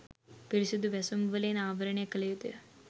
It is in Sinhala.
පිරිසුදු වැසුම් වලින් ආවරණය කළ යුතුය.